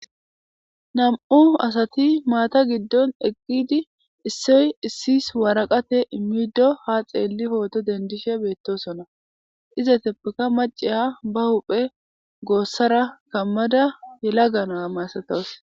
nam7u asati maata giddon eqqidi issoy issis waraqate immiddo ha xeelli hooto dendishe beettosona iza teppeka maciha ba huphe goossara kammada hela gana maasatos